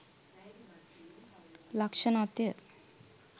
ලක්‍ෂණත්ය.